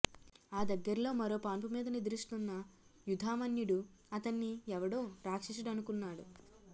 ఆ దగ్గర్లో మరో పాన్పు మీద నిద్రిస్తున్న యుధామన్యుడు అతన్ని ఎవడో రాక్షసుడనుకున్నాడు